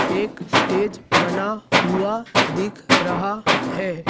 एक स्टेज बना हुआ दिख रहा है।